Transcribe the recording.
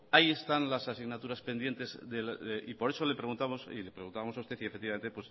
ahí están las asignaturas pendientes y por eso le preguntamos a usted y